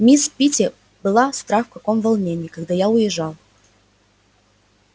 мисс питти была страх в каком волнении когда я уезжал